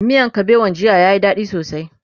miyan kabewan jiya ya Yi dadi sosai